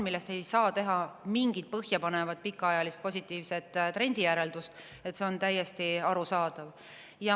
Sellest küll ei saa teha mingit põhjapanevat pikaajalist positiivset järeldust trendi kohta, see on täiesti arusaadav.